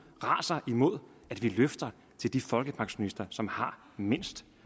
raser imod at vi løfter de folkepensionister som har mindst